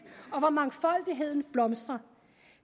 og hvor mangfoldigheden blomstrer